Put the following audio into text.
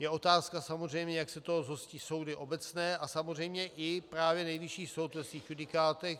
Je otázka samozřejmě, jak se toho zhostí soudy obecné a samozřejmě i právě Nejvyšší soud ve svých judikátech.